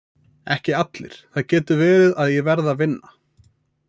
Ekki allir, það getur verið að ég verði að vinna.